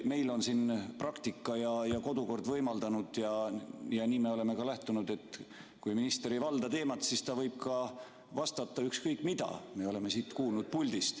Meil on siin praktika ja kodukord võimaldanud ja sellest me oleme ka lähtunud, et kui minister ei valda teemat, siis ta võib ka vastata ükskõik mida, nagu me oleme siit puldist kuulnud.